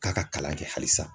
K'a ka kalan kɛ hali san.